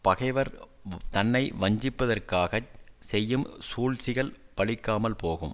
பகைவர் தன்னை வஞ்சிப்பதற்காகச் செய்யும் சூழ்ச்சிகள் பலிக்காமல் போகும்